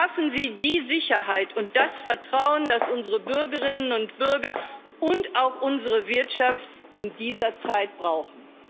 Schaffen Sie die Sicherheit und das Vertrauen, das unsere Bürgerinnen und Bürger und auch unsere Wirtschaft in dieser Zeit brauchen!